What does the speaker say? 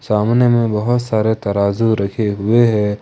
सामने मे बहुत सारा तराजू रखें हुए हैं।